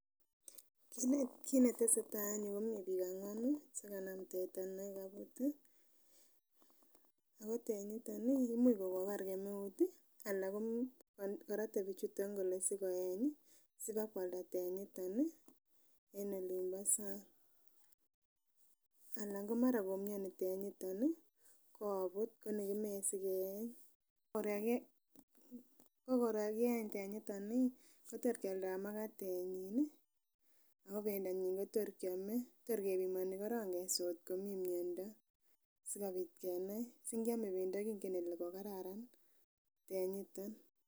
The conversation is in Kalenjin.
Kit netesei tai en yu komii biik ang'wanu chekanam teta nekaibut ako tenyiton imuch kokobar kemeut ana korote bichuto kole sikoeny ii sipakwalda tenyito en olimpo sang ana mara komioni tenyito koobut koni kimoe sikeeny korkakieny tenyitet kotrkyialdo makatenyin akobendanyin kotorkiame torkebimoni korong keswa ngotkomii miando sikobit kenai singiame bendo kingen kele kokararan tenyito.